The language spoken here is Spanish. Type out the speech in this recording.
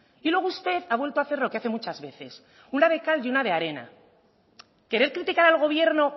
y luego usted ha vuelto a hacer lo que hace muchas veces una de cal y una de arena querer criticar al gobierno